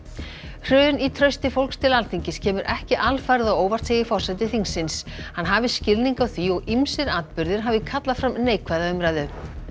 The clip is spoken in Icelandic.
hrun í trausti fólks til Alþingis kemur ekki alfarið á óvart segir forseti þingsins hann hafi skilning á því og ýmsir atburðir hafi kallað fram neikvæða umræðu